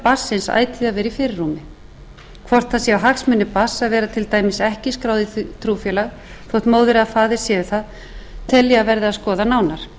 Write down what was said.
barnsins ætíð að vera í fyrirrúmi hvort það séu hagsmunir barns að vera til dæmis ekki skráð í trúfélag þótt móðir eða faðir séu það tel ég að verði að skoða nánar